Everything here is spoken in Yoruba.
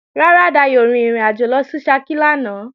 Rárá, Dayò ò rin ìrìnàjò lọ sí Ṣakí lánàá